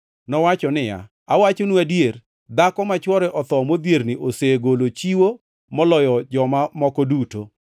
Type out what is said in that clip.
Nowacho niya, “Awachonu adier, dhako ma chwore otho modhierni osegolo chiwo moloyo joma moko duto.